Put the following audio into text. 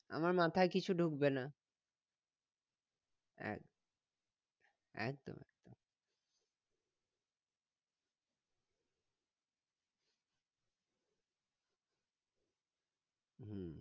আমার মাথায় কিছু ঢুকবে না একদম একদম হম